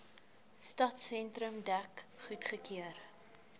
stadsentrum dek goedgekeur